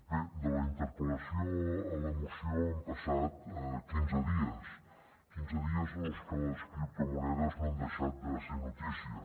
bé de la interpel·lació a la moció han passat quinze dies quinze dies en els que les criptomonedes no han deixat de ser notícia